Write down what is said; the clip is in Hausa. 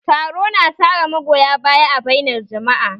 Taro na tara magoya baya a bainar jama'a